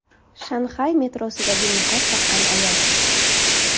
Shanxay metrosidagi niqob taqqan ayol.